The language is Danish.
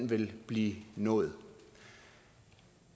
vil blive nået